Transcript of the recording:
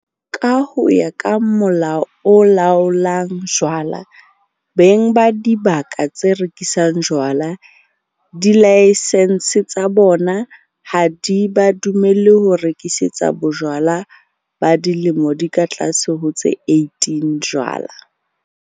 Ka ho ya ka Molao o Laolang Jwala, beng ba dibaka tse rekisang jwala dilaesense tsa bona ha di ba dumelle ho rekisetsa batjha ba dilemo di ka tlase ho tse 18 jwala.